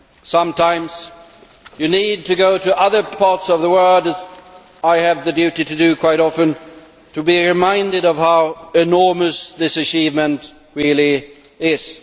Sometimes you need to go to other parts of the world, as I have the duty to do quite often, to be reminded of how enormous this achievement really is.